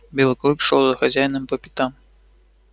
белый клык шёл за хозяином по пятам